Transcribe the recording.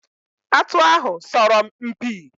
Atụ ahụ sọrọ m mpi.